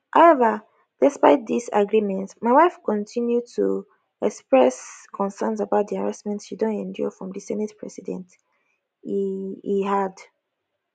however despite dis agreement my wife continue to express concerns about di harassment she don endure from di senate president e e add